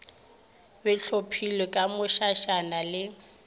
be hlophilwe ka mošašana le